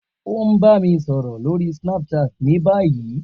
O n ba mi sọrọ lori Snapchat ni bayi.